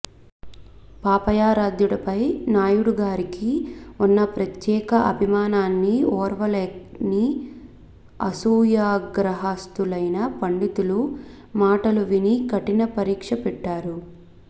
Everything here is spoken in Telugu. పాపయారాధ్యుడిపై నాయుడిగారికి ఉన్న ప్రత్యేక అభిమానాన్ని ఓర్వలేని అసూయాగ్ర స్థులైన పండితుల మాటలు విని కఠిన పరీక్ష పెట్టారు